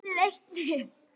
Er liðið eitt lið?